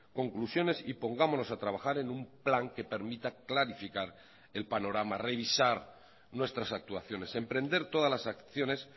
conclusiones y pongámonos a trabajar en un plan que permita clarificar el panorama revisar nuestras actuaciones emprender todas las acciones